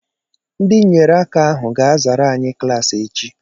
Ndị nyere aka ahụ ga-azara anyị klaasị echi